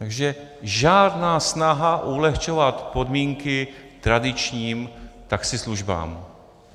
Takže žádná snaha ulehčovat podmínky tradičním taxislužbám.